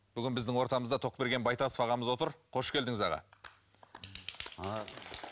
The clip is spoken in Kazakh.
бүгін біздің ортамызда тоқберген байтасов ағамыз отыр қош келдіңіз аға